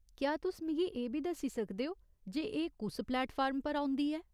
क्या तुस मिगी एह् बी दस्सी सकदे ओ जे एह् कुस प्लेटफार्म पर औंदी ऐ ?